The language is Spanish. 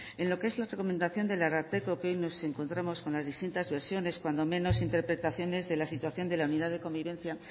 en lo que es la recomendación del ararteko que hoy nos encontramos con las distintas versiones cuando menos interpretaciones de la situación de la unidad de convivencia